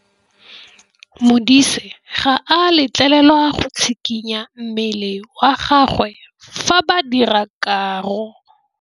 Modise ga a letlelelwa go tshikinya mmele wa gagwe fa ba dira karô.